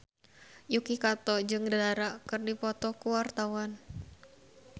Yuki Kato jeung Dara keur dipoto ku wartawan